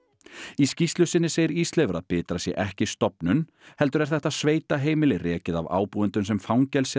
í skýrslu sinni segir Ísleifur að Bitra sé ekki stofnun heldur er þetta sveitaheimili rekið af ábúendum sem fangelsi